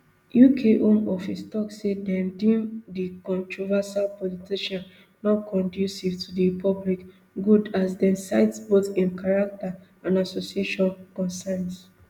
uk home office tok say dem deem di controversial politician nonconducive to di public good as dem cite both im character and association concerns